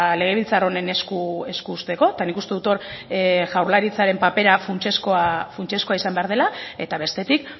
legebiltzar honen esku uzteko eta nik uste dut hor jaurlaritzaren papera funtsezkoa izan behar dela eta bestetik